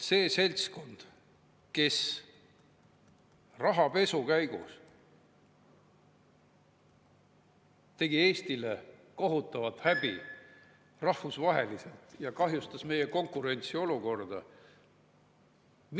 See seltskond tegi rahapesuga Eestile rahvusvaheliselt kohutavalt häbi ja kahjustas meie konkurentsiolukorda.